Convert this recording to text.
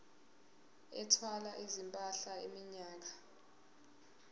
ethwala izimpahla iminyaka